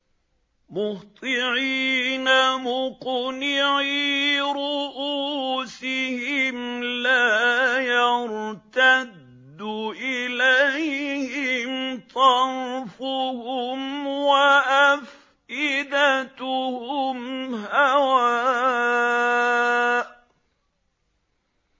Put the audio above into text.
مُهْطِعِينَ مُقْنِعِي رُءُوسِهِمْ لَا يَرْتَدُّ إِلَيْهِمْ طَرْفُهُمْ ۖ وَأَفْئِدَتُهُمْ هَوَاءٌ